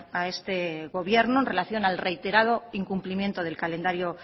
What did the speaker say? a este gobierno en relación al reiterado incumplimiento del calendario